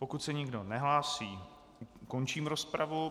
Pokud se nikdo nehlásí, končím rozpravu.